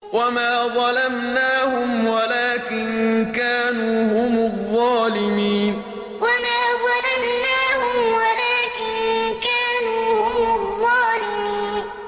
وَمَا ظَلَمْنَاهُمْ وَلَٰكِن كَانُوا هُمُ الظَّالِمِينَ وَمَا ظَلَمْنَاهُمْ وَلَٰكِن كَانُوا هُمُ الظَّالِمِينَ